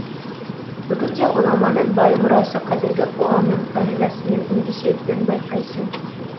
бүгінде ғұламаның бай мұрасы қазіргі қоғамның қағидасымен үндесетінін байқайсың